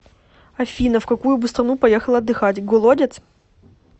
афина в какую бы страну поехала отдыхать голодец